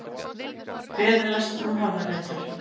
Fyrirlestur um höfðaletur